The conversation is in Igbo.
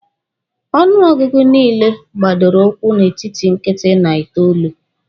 Ọnụ ọgụgụ niile gbadoro ụkwụ n'etiti nkịtị na itoolu.